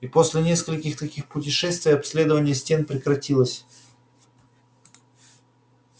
и после нескольких таких путешествий обследование стен прекратилось